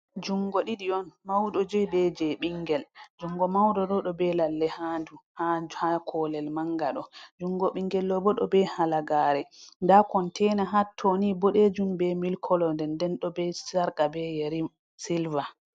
jungo ɗiɗi on mauɗo jei be jei ɓingel, jungo mauɗo ɗo ɗo be lalle ha ɓandu ha kolel manga ɗo, jungo ɓingel bo ɗo be halagare, nda kontaina hattoni boɗejum be milik kolo, nden nden ɗo be sarqa be yeri silva.